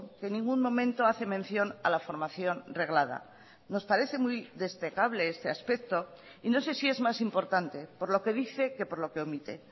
que en ningún momento hace mención a la formación reglada nos parece muy destacable este aspecto y no sé si es más importante por lo que dice que por lo que omite